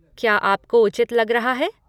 क्या आपको उचित लग रहा है?